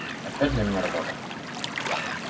опять для меня работа